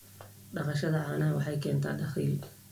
Dhaqashada caanaha waxay keentaa dakhli.